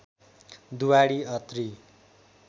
Duwadi Atri